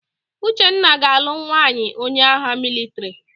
Uchenna ga-alụ nwaanyị onye agha mịlịtrị.